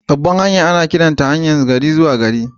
Babbar hanya ana iya kiranta haryar gari-zuwa-gari.